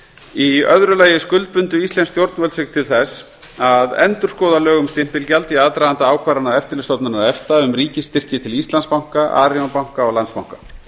í öðru lagi skuldbundu íslensk stjórnvöld sig til þess að endurskoða lög um stimpilgjald í aðdraganda ákvarðana eftirlitsstofnunar efta um ríkisstyrki til íslandsbanka arion banka og landsbanka